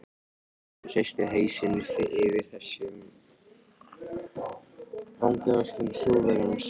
Stefán hristi hausinn yfir þessum vangaveltum Þjóðverjans.